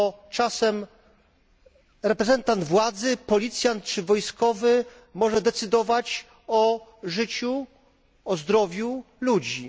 Czasem reprezentant władzy, policjant czy wojskowy, może decydować o życiu i zdrowiu ludzi.